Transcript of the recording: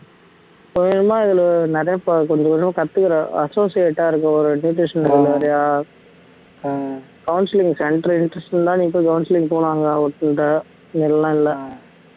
இப்ப இதுல நிறைய கொஞ்ச கொஞ்சமா இதுல நிறைய கொஞ்சம் கொஞ்சமா கத்துக்கற associate ஆ இருக்க ஒரு nutritional counseling centre interest இருந்தா நீ இப்ப counseling போனாங்க அவர்ட்ட எல்லாம் இல்லை